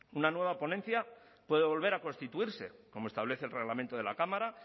una nueva ponencia puede volver a constituirse como establece el reglamento de la cámara